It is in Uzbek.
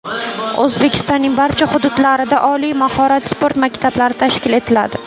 O‘zbekistonning barcha hududlarida oliy mahorat sport maktablari tashkil etiladi.